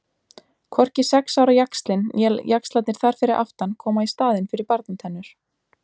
Hvorki sex ára jaxlinn né jaxlarnir þar fyrir aftan koma í staðinn fyrir barnatennur.